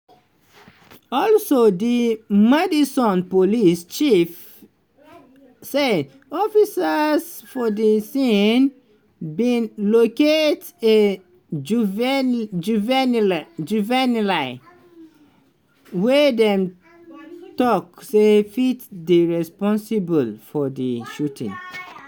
also di madison police chief say officers for di scene bin "locate ajuvenile juvenile wey dem tok say fit dey responsible" for di shooting.